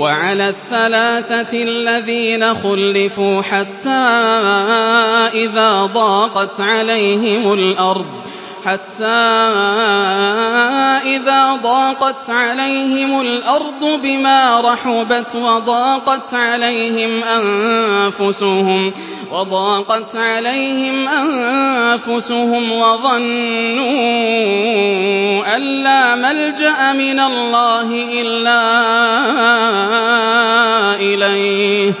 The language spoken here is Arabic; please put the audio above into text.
وَعَلَى الثَّلَاثَةِ الَّذِينَ خُلِّفُوا حَتَّىٰ إِذَا ضَاقَتْ عَلَيْهِمُ الْأَرْضُ بِمَا رَحُبَتْ وَضَاقَتْ عَلَيْهِمْ أَنفُسُهُمْ وَظَنُّوا أَن لَّا مَلْجَأَ مِنَ اللَّهِ إِلَّا إِلَيْهِ